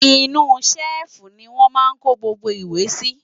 inú ṣẹ́ẹ̀fù ni wọ́n máa ń kó gbogbo ìwé sí